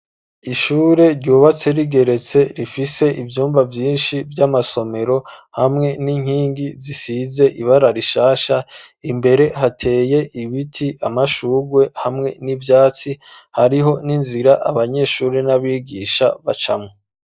Ishure ryubatse rigeretse rifise ivyumba vyinshi vy'amasomero, hamwe n'inkingi zisize ibara rishasha, imbere hateye ibiti ,amashugwe hamwe n'ivyatsi ,hariho n'inzira abanyeshuri n'abigisha bacamwo.